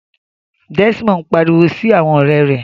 Desmond n pariwo si awọn ọrẹ rẹ